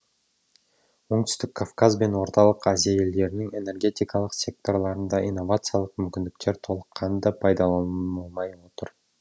оңтүстік кавказ бен орталық азия елдерінің энергетикалық секторларында инновациялық мүмкіндіктер толыққанды пайдаланылмай отыр